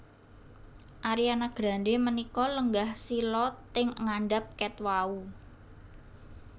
Ariana Grande menika lenggah sila teng ngandhap ket wau